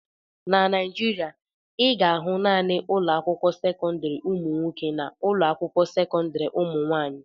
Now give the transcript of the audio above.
Na Naijiria, ị ga-ahụ naanị ụlọ akwụkwọ sekọndrị ụmụ nwoke na ụlọ akwụkwọ sekọndrị ụmụ nwaanyị.